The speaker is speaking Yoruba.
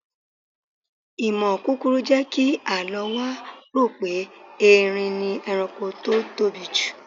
Ìmọ̀ kúkurú jẹ́ kí Àlọ́ wa rò pé Eerin ni ẹranko tó tóbi jù.